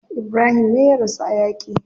Ibrahim me ya rasu a yaki.